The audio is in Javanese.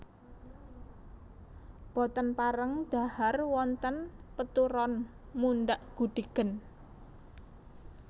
Boten pareng dhahar wonten peturon mundhak gudhigen